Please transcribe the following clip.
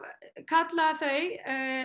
kalla þau